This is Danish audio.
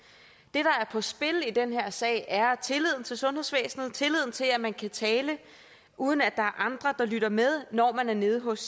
er på spil i den her sag er tilliden til sundhedsvæsenet tilliden til at man kan tale uden at er andre der lytter med når man er nede hos